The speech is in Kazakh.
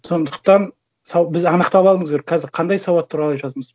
сондықтан біз анықтап алуымыз керек қазір қандай сауат туралы айтып жатырмыз